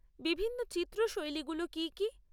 বিভিন্ন চিত্র শৈলীগুলো কী কী?